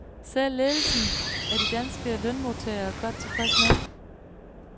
Selv ledelsen er de danske lønmodtagere godt tilfreds med.